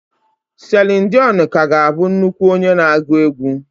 Celine dion ka ga-abụ nnukwu onye na-agụ egwú.